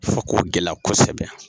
Fo ko gɛlɛya kosɛbɛ